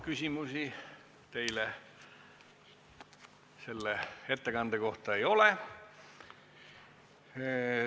Küsimusi teile selle ettekande kohta ei ole.